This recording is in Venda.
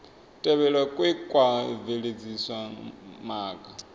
tevhelwa kwe kwa bveledzisa maga